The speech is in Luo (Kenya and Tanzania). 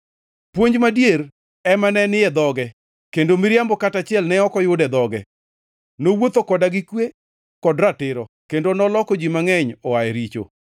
Puonj madier ema ne ni e dhoge kendo miriambo kata achiel ne ok oyud e dhoge. Nowuotho koda gi kwe kod ratiro, kendo noloko ji mangʼeny oa e richo.